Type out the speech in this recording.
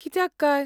कित्याक काय?